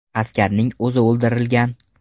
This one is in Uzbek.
Askarning o‘zi o‘ldirilgan.